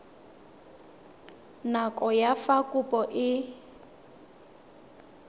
nako ya fa kopo e